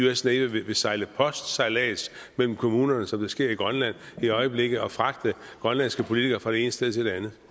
us navy vil sejle postsejlads mellem kommunerne som det sker i grønland i øjeblikket og fragte grønlandske politikere fra det ene sted til det andet